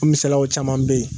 O misalaw caman bɛ yen.